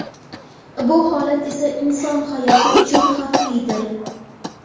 Bu holat esa inson hayoti uchun xavflidir.